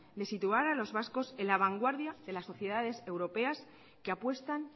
de situar a los vascos en la vanguardia de la sociedades europeas que apuestan